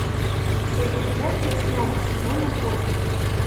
серия пять восьмого сезона кости